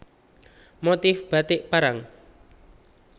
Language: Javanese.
Motif Batik Parang